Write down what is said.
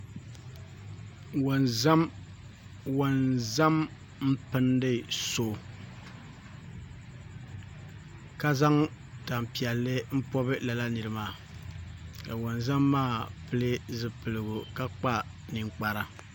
Wonzam n pindi so ka zaŋ tanpiɛlli n pobi lala niri maa ka wonzam maa pili zipiligu ka kpa ninkpara